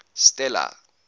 stella